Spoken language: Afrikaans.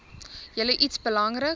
julle iets belangriks